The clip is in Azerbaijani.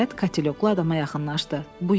Nəhayət, kateloklu adama yaxınlaşdı.